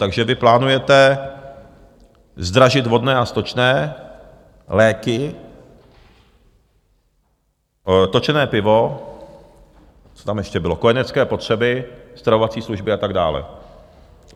Takže vy plánujete zdražit vodné a stočné, léky, točené pivo - co tam ještě bylo? - kojenecké potřeby, stravovací služby a tak dále.